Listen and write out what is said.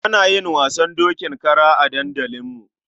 Ana yin wasan dokin kara a dandalinmu.